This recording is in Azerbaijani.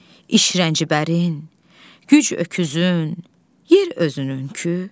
İşrəncbərin, güc öküzün, yer özününkü bəyzadələri, xanları neylərdin, İlahi?